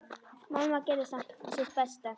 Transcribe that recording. Mamma gerði samt sitt besta.